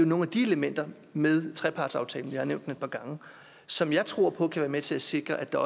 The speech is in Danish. nogle af de elementer med trepartsaftalen vi har nævnt den et par gange som jeg tror på kan være med til at sikre at der